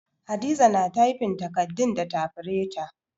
Hadiza na tyfin takardun da tafireta